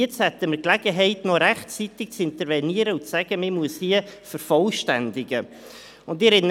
Jetzt haben wir aber noch die Möglichkeit, rechtzeitig zu intervenieren und eine Vervollständigung verlangen.